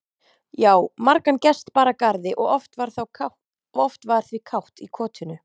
Já, margan gest bar að garði og oft var því kátt í kotinu.